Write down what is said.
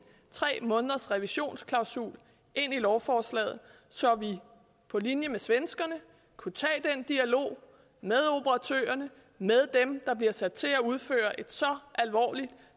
tre måneders revisionsklausul ind i lovforslaget så vi på linje med svenskerne kunne tage den dialog med operatørerne med dem der bliver sat til at udføre et så alvorligt